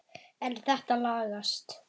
En þetta lagast.